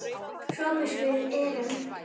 SOPHUS: Við erum fleiri.